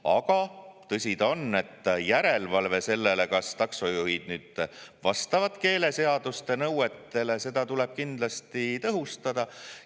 Aga tõsi ta on, et järelevalvet selle üle, kas taksojuhid vastavad keeleseaduse nõuetele, tuleb kindlasti tõhustada.